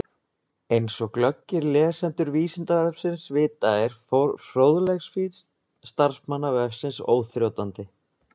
Eins og glöggir lesendur Vísindavefsins vita er fróðleiksfýsn starfsmanna vefsins óþrjótandi.